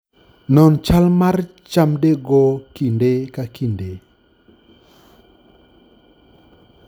Non chal mar chamdego kinde ka kinde